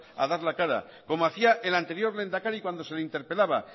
a dar la cara como hacía el anterior lehendakari cuando se le interpelaba